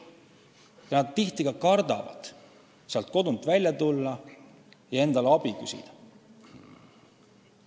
Ja nad tihti kardavad kodunt välja tulla ja abi küsida.